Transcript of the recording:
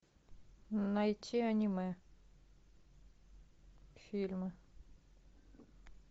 найти аниме фильмы